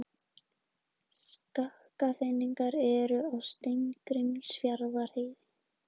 Skafrenningur er á Steingrímsfjarðarheiði